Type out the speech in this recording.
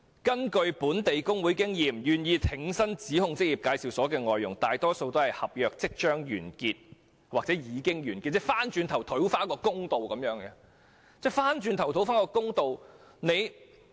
根據本地工會的經驗，願意挺身指控職業介紹所的外傭，大多數是合約即將或已經完結的人士，希望透過追溯期討回公道。